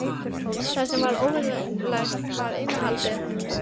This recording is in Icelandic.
Það sem var óvenjulegt var innihaldið.